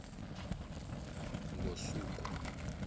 ngosuku